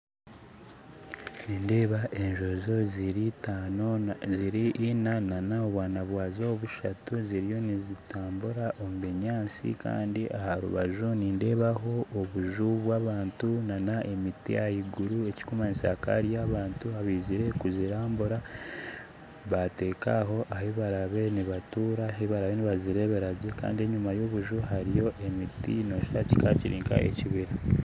Nindeeba enjonjo ziri ina nana obwaana bwazo bushatu ziriyo nizitambura omu binyaatsi kandi aharubaju nindeebaho obuju bw'abantu nana emiti ahaiguru ekirikumanyisa hakaba hariyo abantu abaizire kuzirambura batekaaho ahibarabe nibatuura, ahibarabe nibazireberagye kandi enyima ya obuju hariyo emiti noshusha oti kikaba kiri nka ekibira.